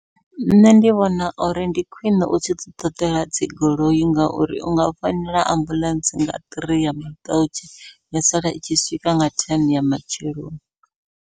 Nṋe ndi vhona uri ndi khwiṋe u tshi ḓi ṱoḓela dzi goloi, ngauri u nga founela ambuḽentse nga three ya maḓautsha ya sala itshi swika nga thene ya matsheloni.